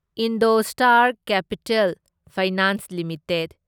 Indostar Capital Finance limited